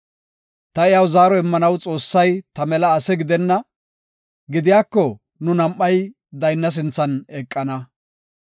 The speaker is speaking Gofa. Ta iyaw zaaro immanaw Xoossay ta mela ase gidenna; gidiyako nu nam7ay daynna sinthan eqana.